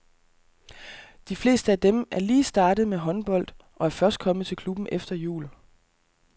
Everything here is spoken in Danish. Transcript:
De fleste af dem er lige startet med håndbold og er først kommet til klubben efter jul.